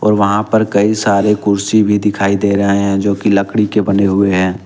और वहां पर कई सारे कुर्सी भी दिखाई दे रहे हैं जो कि लकड़ी के बने हुए हैं।